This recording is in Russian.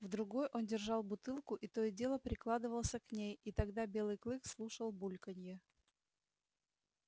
в другой он держал бутылку и то и дело прикладывался к ней и тогда белый клык слушал бульканье